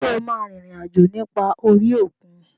Ṣé o máa rin ìrìn àjò nípa orí òkun?